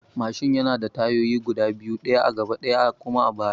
Mashin yana da tayoyi guda biyu: ɗaya a gaba ɗaya kuma a baya